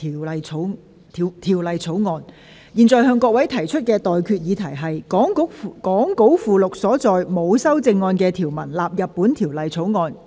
我現在向各位提出的待決議題是：講稿附錄所載沒有修正案的條文納入本條例草案。